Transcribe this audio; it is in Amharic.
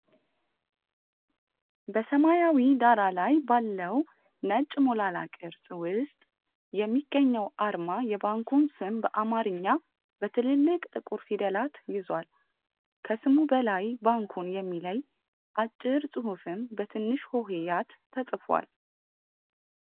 በሰማያዊ ዳራ ላይ ባለው ነጭ ሞላላ ቅርጽ ውስጥ የሚገኘው አርማ የባንኩን ስም በአማርኛ በትልልቅ ጥቁር ፊደላት ይዟል። ከስሙ በላይ ባንኩን የሚለይ አጭር ጽሑፍም በትንሽ ሆሄያት ተጽፏል።